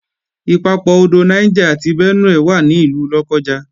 Ìpapọ̀ odò Niger àti Benue wà ní ìlú Lọ́kọ́ja